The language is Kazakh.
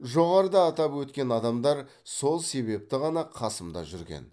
жоғарыда атап өткен адамдар сол себепті ғана қасымда жүрген